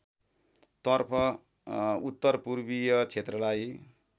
तर्फ उत्तरपूर्वीय क्षेत्रलाई